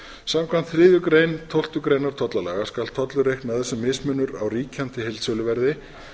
samkvæmt þriðju málsgrein tólftu greinar tollalaga skal tollur reiknaður sem mismunur á ríkjandi heildsöluverði